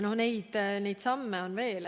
Neid samme on veel.